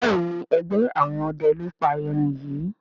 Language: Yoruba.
Béèni ègbé àwọn ọdẹ ló pá èrin yí.